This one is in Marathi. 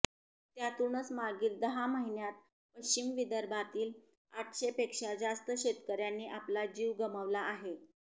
त्यातुनच मागील दहा महिन्यात पश्चिम विदर्भातील आठशे पेक्षा जास्त शेतकऱ्यांनी आपला जीव गमावला आहे